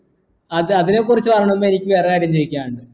അത് അതിനെക്കുറിച്ച് പറയുന്നതിനു മുമ്പ് എനിക്ക് വേറൊരു കാര്യം ചോദിക്കാനുണ്ട്